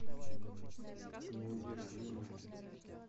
неудержимые